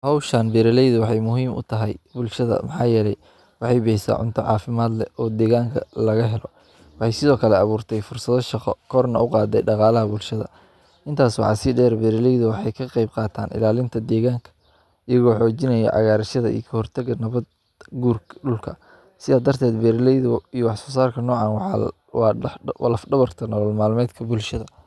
Howshaan beerileydu waxay muhiim u tahay bulshada maxaa yarey. Waxay baysa cunto caafimaad leh oo deegaanka laga helo. Bay sido kalle caburtay fursado shaqo korna u qaaday dhaqaalaha bulshada. Intaas waxaa si dheer beerileydu waxay ka qeyb qaataan ilaalinta deegaanka, igoo coojinayo cagaarishada i koortagga nabad gurka dhulka. Siya darteed beerileydu iyo wafasaarka noocaan waxaa waa dhaq dh- walaac dhabarta nolol maalmeedka bulshada.